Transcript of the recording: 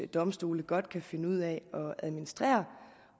domstolene godt kan finde ud af at administrere